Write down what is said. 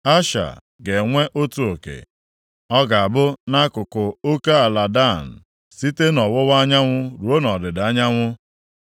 Asha ga-enwe otu oke. Ọ ga-abụ nʼakụkụ oke ala Dan, site nʼọwụwa anyanwụ ruo nʼọdịda anyanwụ.